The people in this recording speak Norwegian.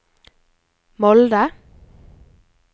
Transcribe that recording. Molde